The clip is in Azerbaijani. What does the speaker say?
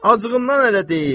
Acığından elə deyib.